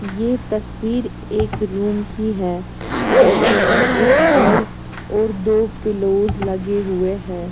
यह तस्वीर एक रूम की है जहां पर एक बेड और दो पिलोज लगे हुए हैं।